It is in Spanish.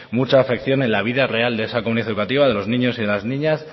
mucha afección en la vida real de esa comunidad educativa de los niños y de las niñas